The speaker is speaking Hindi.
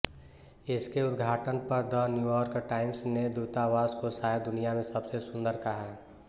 इसके उद्घाटन पर द न्यूयॉर्क टाइम्स ने दूतावास को शायद दुनिया में सबसे सुंदर कहा